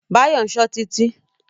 Báyọ̀ ń ṣọ́ Títí.